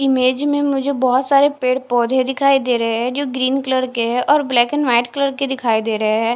Image में मुझे बहुत सारे पेड़ पौधे दिखाई दे रहे है जो ग्रीन कलर के है और ब्लैक एंड व्हाइट कलर के दिखाई दे रहे है।